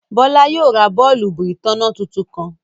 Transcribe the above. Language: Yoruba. Bọ̀lá yóò rá bọ̀ọ̀lùbù itánná tuntun kan.